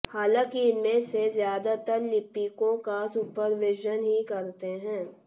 हालांकि इनमें से ज्यादातर लिपिकों का सुपरविजन ही करते हैं